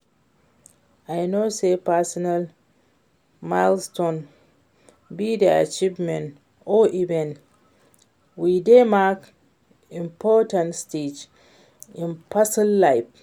i know say personal milestone be di achievement or event wey dey mark important stage in person's life.